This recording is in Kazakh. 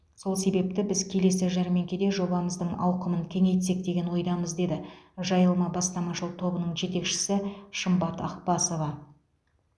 сол себепті біз келесі жәрмеңкеде жобамыздың ауқымын кеңейтсек деген ойдамыз деді жайылма бастамашыл тобының жетекшісі шымбат ақбасова